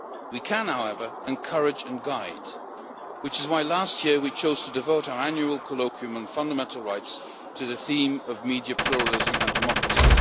We can, however, encourage and guide, which is why last year we chose to devote our annual colloquium on fundamental rights to the theme of media pluralism and democracy.